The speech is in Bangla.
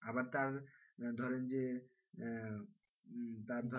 আবার তার ধরেন যে আহ তার,